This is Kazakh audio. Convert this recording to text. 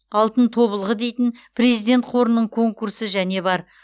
алтын тобылғы дейтін президент қорының конкурсы және бар